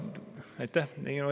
Aitäh!